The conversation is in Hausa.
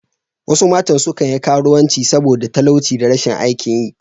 Wasu matan suna karuwanci saboda talauci da rashin aikin yi.